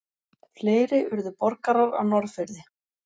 Fleiri urðu borgarar á Norðfirði.